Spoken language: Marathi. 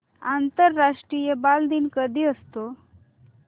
आंतरराष्ट्रीय बालदिन कधी असतो